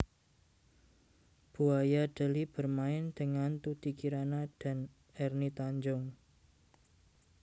Buaya Deli bermain dengan Tuty Kirana dan Erni Tanjung